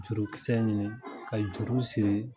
Jurukisɛ ɲini ka juru siri.